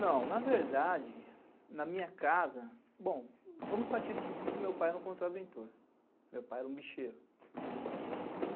Não, na verdade, na minha casa... Bom, vamos partir do princípio que meu pai era um contraventor, meu pai era um bicheiro.